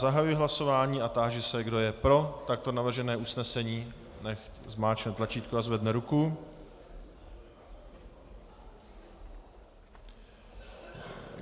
Zahajuji hlasování a táži se, kdo je pro takto navržené usnesení, nechť zmáčkne tlačítko a zvedne ruku.